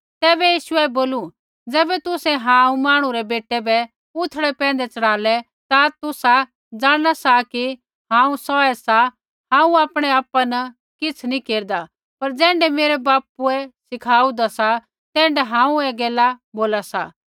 तैबै यीशुऐ बोलू ज़ैबै तुसै हांऊँ मांहणु रै बेटै बै उथड़ै पैंधै चढ़ालै ता तुसा जाणना सा कि हांऊँ सौऐ सा हांऊँ आपणै आपा न किछ़ नी केरदा पर ज़ैण्ढै मेरै बापुए मुँभै सिखाऊंदा सा तैण्ढै हांऊँ ऐ गैला बोला सा